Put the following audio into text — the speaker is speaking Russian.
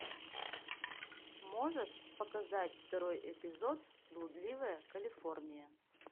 можешь показать второй эпизод блудливая калифорния